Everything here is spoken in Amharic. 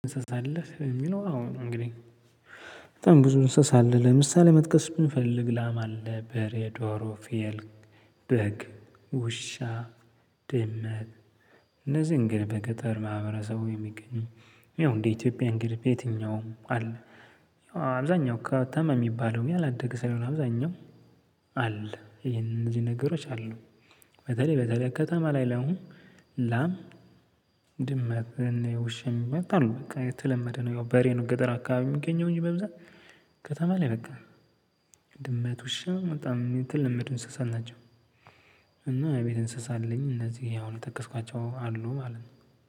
እንሰሳ አለህ ለሚለው አዎን እንግዲህ በጣም ብዙ እንሰሳ አለ ለምሳሌ መጥቀስ ብንፈልግ ላም አለ በሬ ዶሮ ፍየል በግ ውሻ ድመት እነዚህን ግን በገጠር ማህበረሰቡ የሚገኙ ያው እንደ ኢትዮጵያ እንግዲህ በየትኛውም አለ። ያው አብዛኛው ከተማ የሚባለው ያላደገ ሳይሆን አብዛኛው አለ ይሄንን እነዚህ ነገሮች አሉ። በተለይ በተለይ ከተማ ላይ አሁን ላም ድመት ውሻም ይመጣሉ በቃ የተለመደ ነው። ያው በሬ ነው ገጠር አካባቢ የሚገኘው እንጂ በብዛት ከተማ ላይ በቃ ድመት ውሻ በጣም የተለመዱ እንስሳት ናቸው። እና የቤት እንስሳ አለኝ እነዚህ አሁን የጠቀስኳቸው አሉ ማለት ነው።